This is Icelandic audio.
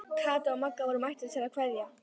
Kata og Magga voru mættar til að kveðja.